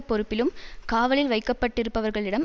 பொறுப்பிலும் காவலில் வைக்கப்பட்டிருப்பவர்களிடம்